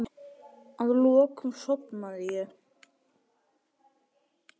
Að lokum sofnaði ég.